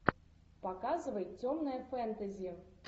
показывай темное фэнтези